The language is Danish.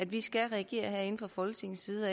vi skal reagere herinde fra folketingets side